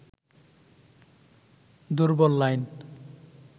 দুর্বল লাইন